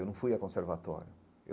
Eu não fui a conservatório.